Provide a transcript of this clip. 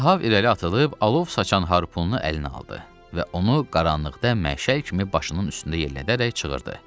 Ahab irəli atılıb alov saçan harpunu əlinə aldı və onu qaranlıqda məşəl kimi başının üstündə yellədərək çığırdı.